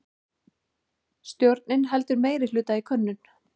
Stjórnin heldur meirihluta í könnun